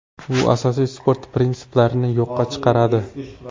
U asosiy sport prinsiplarini yo‘qqa chiqaradi.